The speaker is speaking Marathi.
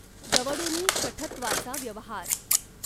दवडूनि शठत्वाचा व्यवहार।